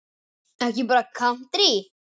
Ekki bara kántrí?